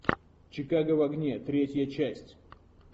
чикаго в огне третья часть